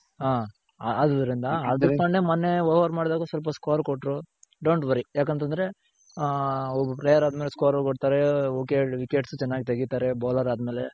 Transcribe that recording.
ಹ ಆದುದರಿಂದ ಹಾರ್ದಿಕ್ ಪಾಂಡೆ ಮೊನ್ನೆ over ಮಾಡ್ದಾಗ ಸ್ವಲ್ಪ score ಕೊಟ್ರು. don't worry ಯಾಕಂತಂದ್ರೆ ಹ ಒಬ್ಬ player ಆದಮೇಲೆ score ಕೊಡ್ತಾರೆ wickets ಚೆನ್ನಾಗ್ ತಗಿತಾರೆ bowler ಆದ್ಮೇಲೆ.